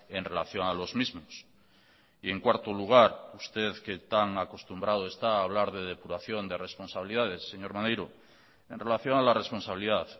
en relación a los mismos y en cuarto lugar usted que tan acostumbrado está a hablar de depuración de responsabilidades señor maneiro en relación a la responsabilidad